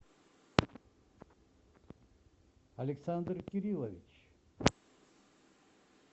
александр кириллович